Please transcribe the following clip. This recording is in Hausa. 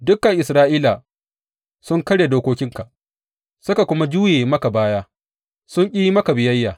Dukan Isra’ila sun karya dokokinka suka kuma juya maka baya, sun ƙi yi maka biyayya.